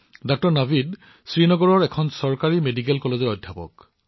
ডাঃ নাভিদ শ্ৰীনগৰৰ এখন চৰকাৰী চিকিৎসা মহাবিদ্যালয়ৰ অধ্যাপক